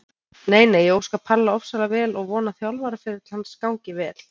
Nei nei, ég óska Palla ofsalega vel og vona að þjálfaraferill hans gangi vel.